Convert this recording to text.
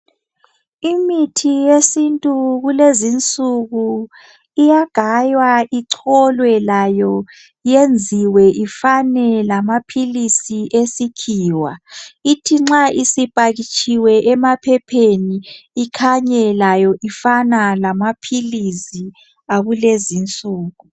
Imithi yesintu lulezi insuku iyagaywa, icholwe layo yenziwe ifane lamaphilisi esikhiwa ithi nxa isipakitshiwe emaphepheni ikhanye layo ifana lamaphilisi akulezi insuku.